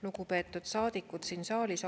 Lugupeetud saadikud siin saalis!